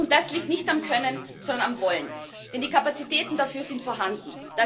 Das liegt nicht am Können, sondern am Wollen, denn die Kapazitäten dafür sind vorhanden.